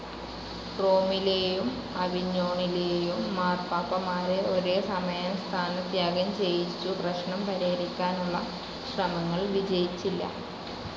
റോമിലേയും അവിഞ്ഞോണിലേയും മാർപ്പാപ്പമാരെ ഒരേസമയം സ്ഥാനത്യാഗം ചെയ്യിച്ചു പ്രശ്നം പരിഹരിക്കാനുള്ള ശ്രമങ്ങൾ വിജയിച്ചില്ല.